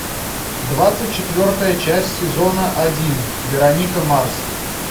двадцать четвертая часть сезона один вероника марс